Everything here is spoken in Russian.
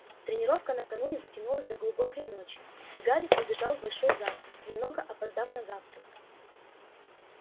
тренировка накануне затянулась до глубокой ночи и гарри прибежал в большой зал немного опоздав на завтрак